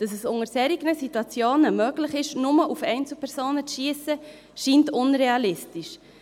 Dass es in solchen Situationen möglich ist, nur auf Einzelpersonen zu schiessen, scheint unrealistisch.